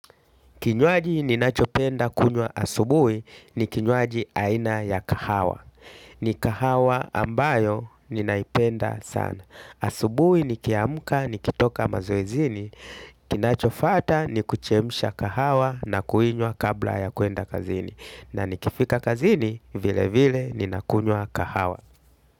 Kinywaji ninachopenda kunywa asubui ni kinywaji aina ya kahawa. Ni kahawa ambayo ninaipenda sana. Asubui nikiamka nikitoka mazoezini. Kinachofata ni kuchemsha kahawa na kuinywa kabla ya kuenda kazini. Na nikifika kazini vile vile ninakunywa kahawa.